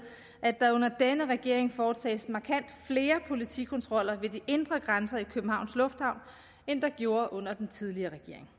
at der under denne regering foretages markant flere politikontroller ved de indre grænser i københavns lufthavn end der blev under den tidligere regering